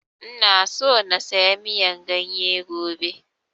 Ina so na saya miyan ganye gobe